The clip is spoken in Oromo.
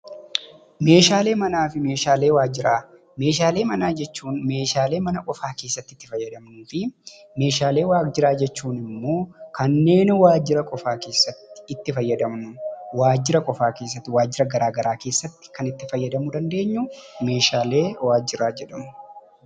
Meeshaalee Manaa fi Meeshaalee Waajjiraa: Meeshaalee manaa jechuun meeshaalee mana qofaa keessatti itti fayyadamnuu fi meeshaalee waajjiraa jechuun immoo kanneen waajjira qofaa keessatti itti fayyadamnu, waajjira qofaa keessatti waajjira garaagaraa keessatti kan itti fayyadamuu dandeenyu meeshaalee waajjiraa jedhamu.